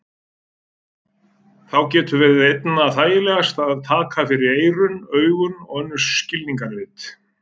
Þá getur verið einna þægilegast að taka fyrir eyrun, augun og önnur skilningarvit.